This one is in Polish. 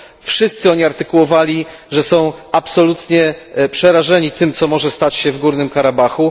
Wszyscy oni artykułowali, że są absolutnie przerażeni tym, co może stać się w Górnym Karabachu.